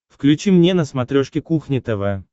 включи мне на смотрешке кухня тв